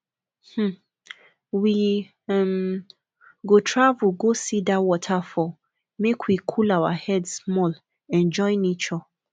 um we um go travel go see dat waterfall make we cool our head small enjoy nature